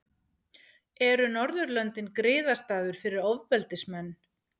Eru Norðurlöndin griðastaður fyrir ofbeldismenn?